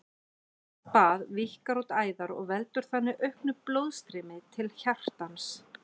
Heitt bað víkkar út æðar og veldur þannig auknu blóðstreymi til hjartans.